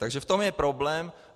Takže v tom je problém.